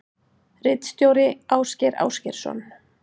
Ritstjóri Ásgeir Ásgeirsson.